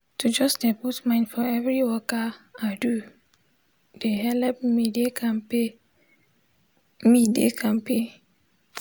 to jus de put mind for everi waka i do de helep me de kampe me de kampe